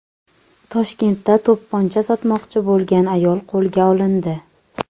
Toshkentda to‘pponcha sotmoqchi bo‘lgan ayol qo‘lga olindi.